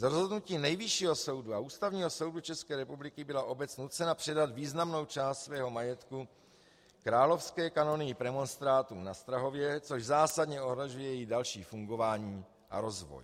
Z rozhodnutí Nejvyššího soudu a Ústavního soudu České republiky byla obec nucena předat významnou část svého majetku Královské kanonii premonstrátů na Strahově, což zásadně ohrožuje její další fungování a rozvoj.